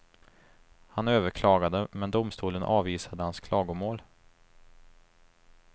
Han överklagade, men domstolen avvisade hans klagomål.